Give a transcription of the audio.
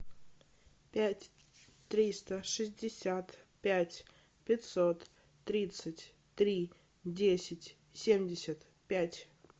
пять триста шестьдесят пять пятьсот тридцать три десять семьдесят пять